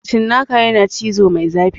Cinnaka yana cizo mai zafi